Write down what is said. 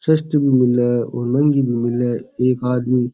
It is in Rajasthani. सस्ती भी मिले है महँगी भी मिले है एक आदमी --